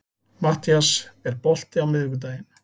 Mattías, er bolti á miðvikudaginn?